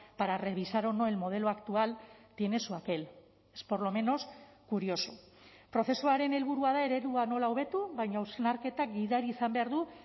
para revisar o no el modelo actual tiene su aquel es por lo menos curioso prozesuaren helburua da eredua nola hobetu baina hausnarketa gidari izan behar du